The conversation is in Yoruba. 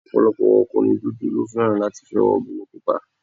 Ọ̀pọ̀lọpọ̀ ọkùnrin dúdú ló fẹ́ràn láti fẹ́ obìnrin pupa